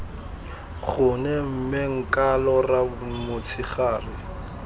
gone mme nka lora motshegare